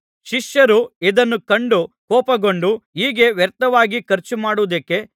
ಶಿಷ್ಯರು ಇದನ್ನು ಕಂಡು ಕೋಪಗೊಂಡು ಹೀಗೆ ವ್ಯರ್ಥವಾಗಿ ಖರ್ಚುಮಾಡುವುದೇಕೆ